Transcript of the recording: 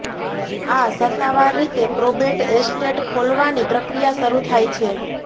આ સત્તાવાર રીતે પ્રોબેટ એસ્ટેટ ખોલવાની પ્રક્રિયા શરૂ થાય છે